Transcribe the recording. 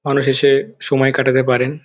মানুষ এসে সময় কাটাতে পারেন।